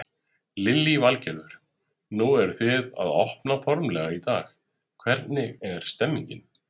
Lillý Valgerður: Nú eru þið að opna formlega í dag, hvernig er stemningin?